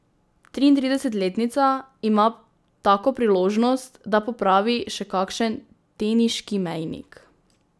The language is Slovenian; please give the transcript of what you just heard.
Triintridesetletnica ima tako priložnost, da popravi še kakšen teniški mejnik.